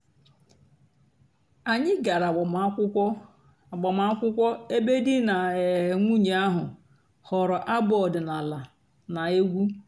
ányị́ gàrà àgbàmàkwụ́kwọ́ àgbàmàkwụ́kwọ́ èbé dì nà um nwùnyé àhú́ họ́rọ́ àbụ́ ọ̀dị́náàlà nà- ègwú.